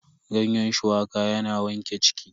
Ganyen shuwaka yana wanke ciki.